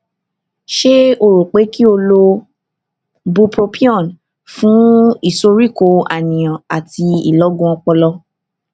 ṣé o rò pé kí o lo bupropion fún ìsoríkó àníyàn àti ìlọgun ọpọlọ